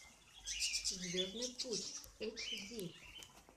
звездный путь эйч ди